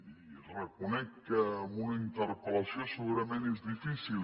i reconec que amb una interpel·lació segurament és difícil